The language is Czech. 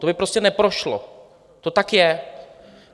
To by prostě neprošlo, to tak je.